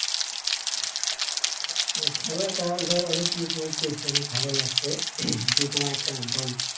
খেলাটা এবার অনেক উপভোগ করছি অনেক ভালো লাগছে যে তোমার একটা দল